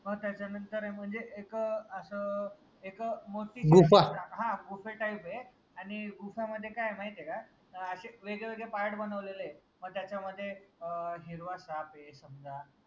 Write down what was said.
म त्याच्या नंतर म्हनजे एक आस एक मोठी हान गुफे type ए आनि गुफे मध्ये काय माहितीय का? अशे वेगळे वेगळे part बनवलेले आहे म त्याच्यामध्ये अं हिरवा साप ए समजा